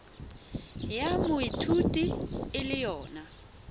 ya moithuti e le yona